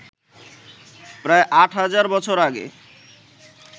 প্রায় আট হাজার বছর আগে